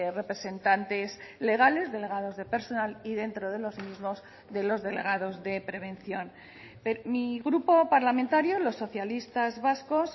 representantes legales delegados de personal y dentro de los mismos de los delegados de prevención mi grupo parlamentario los socialistas vascos